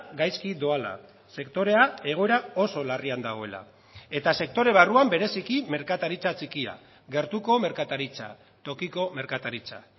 gaizki doala sektorea egoera oso larrian dagoela eta sektore barruan bereziki merkataritza txikia gertuko merkataritza tokiko merkataritza